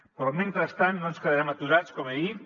però mentrestant no ens quedarem aturats com he dit